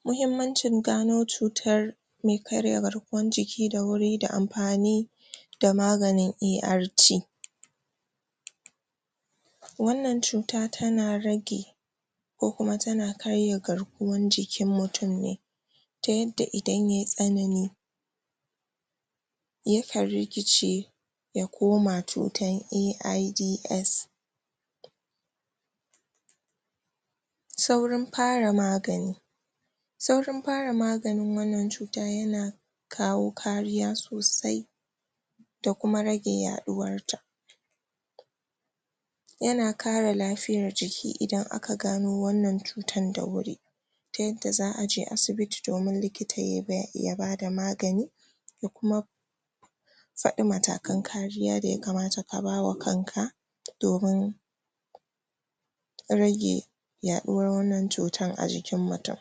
um muhimmancin gano cutar me karya garkuwan jiki da wuri da amfani da maganin ART wannan cuta tana rage ko kuma tana karya garkuwan jikin mutum ne ta yadda idan yay tsanani yakan rikice ya koma cutan AiDS saurin fara magani saurin fara maganin wannan cuta yana kawo kariya sosai da kuma rage yaɗuwarta yana kare lafiyar jiki idan aka gano wannan cutar da wuri ta yadda za'aje asibiti domin likita ya.. ya bada magani da kuma su faɗi matakan kariya da ya kamata ka bawa kanka domin rage yaɗuwar wannan cutan a jikin mutum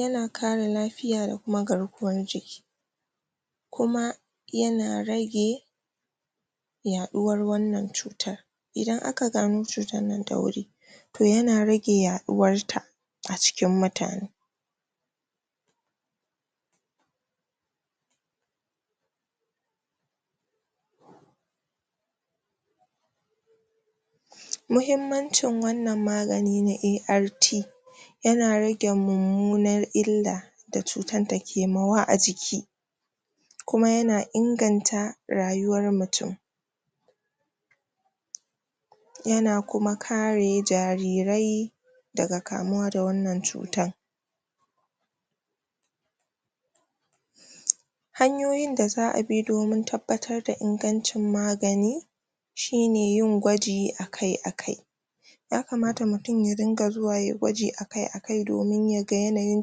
yana kare lafiya da kuma garkuwar jiki kuma yana rage yaɗuwar wannan cutar idan aka gano cutar nan da wuri to yana rage yaɗuwarta a cikin mutane pause muhimmancin wannan magani na ART yana rage mummunar illa da cutar ta kema wa a jiki kuma yana inganta rayuwar mutum yana kuma kare jarirai daga kamuwa da wannan cutan um hanyoyin da za'abi domin tabbatar da ingancin magani shine yin gwaji akai-akai ya kamata mutum ya ringa zuwa yayi gwaji a kai-akai domin yaga yanayin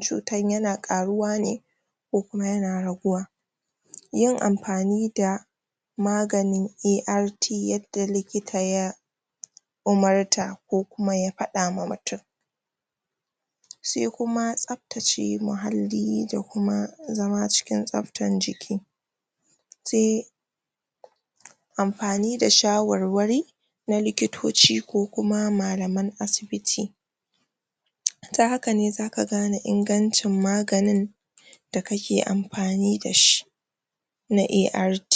cutan yana karuwa ne ko kuma yana raguwa yin amfani da maganin ART yadda likita ya umurta ko kuma ya faɗa ma mutum sai kuma tsaftace muhalli da kuma zama cikin tsaftar jiki se amfani da shawarwari na likitoci ko kuma malaman asibiti um ta hakane zaka gane ingancin maganin da kake amfani dashi na ART